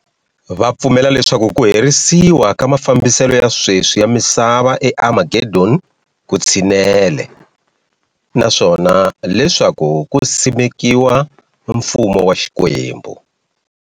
Vupfumela leswaku kuherisiwa ka mafambiselo ya sweswi ya misava e Armageddon kutshinele, naswona leswaku ku simekiwa ka Mfumo wa Xikwembu.